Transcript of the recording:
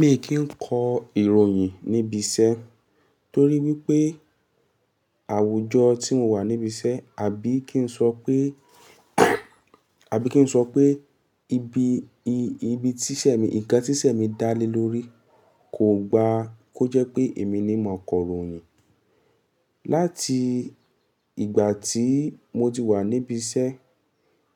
Mi kì n kọ ìròyìn níbi iṣẹ́ torí wípé àwùjọ tí mo wà níbi iṣẹ́ àbí kí n sọ pé àbí kí n sọ pé ibi, i-ibi tíṣẹ́ mi, ǹnkan tíṣẹ́ mi dá lé lórí kò gba kó jẹ́ pé èmi ni ma kọ ìròyìn. Láti ìgbà tí mo ti wà níbi iṣẹ́